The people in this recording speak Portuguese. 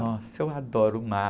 Nossa, eu adoro o mar.